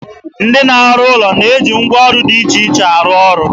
Ndị na-arụ ụlọ na-eji ngwaọrụ dị iche iche arụ ọrụ.